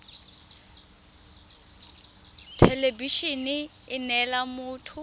thelebi ene e neela motho